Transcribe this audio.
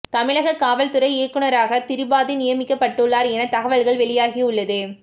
தமிழக காவல்துறை இயக்குனராக திரிபாதி நியமிக்கப்பட்டுள்ளார் என தகவல்களை வெளியாகி உள்ளது